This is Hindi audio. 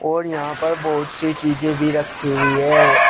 और यहां पर बहोत सी चीजे भी रखी हुई है।